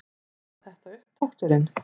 Var þetta upptakturinn?